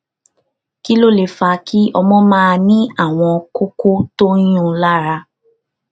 kí ló lè fà á kí ọmọ máa ní àwọn kókó tó ń yuún un lára